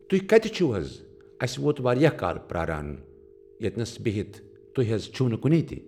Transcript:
تُہۍ کتہِ چھِوٕ حض اسہ ووت واریاہ کال پراران ییٚتٮ۪س بِہِتھ تُہۍ حض چھِو نہٕ کُنے تہِ۔